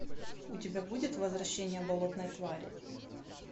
у тебя будет возвращение болотной твари